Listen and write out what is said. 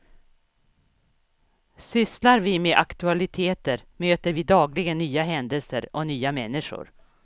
Sysslar vi med aktualiteter möter vi dagligen nya händelser och nya människor.